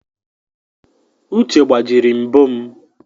Uche gbajiri mbo m